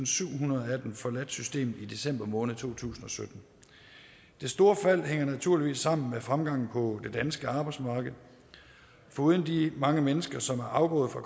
syvhundrede af dem forladt systemet i december måned to tusind og sytten det store fald hænger naturligvis sammen med fremgangen på det danske arbejdsmarked foruden de mange mennesker som er afgået fra